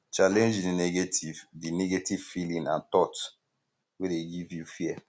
challenege di negative di negative feeling and thought wey dey give you fear